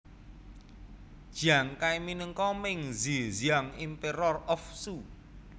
Jiang Kai minangka Meng Zhi Xiang Emperor of Shu